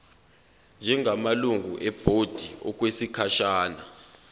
njengamalungu ebhodi okwesikhashana